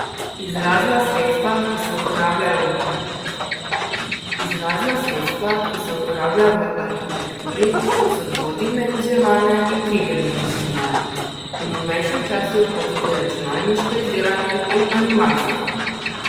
Izrazna sredstva, ki se uporabljajo v arhitekturi, so dvodimenzionalne in tridimenzionalne , v novejšem času pa tudi računalniško izdelani in animacije.